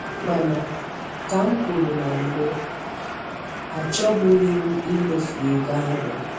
Mana ka m kwuru na mbụ, achọbughịm imefu ego ahụ.